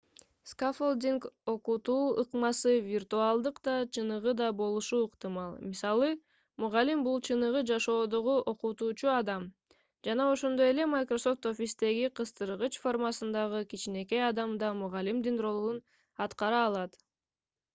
скаффолдинг окутуу ыкмасы виртуалдык да чыныгы да болушу ыктымал. мисалы мугалим — бул чыныгы жашоодогу окутуучу адам жана ошондой эле microsoft office'теги кыстыргыч формасындагы кичинекей адам да мугалимдин ролун аткара алат